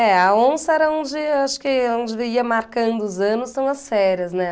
É, a onça era onde, acho que onde eu ia marcando os anos são as férias, né?